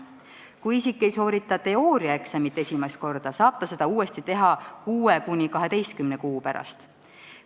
Kui isik ei soorita teooriaeksamit esimest korda, saab ta seda uuesti teha 6–12 kuu pärast.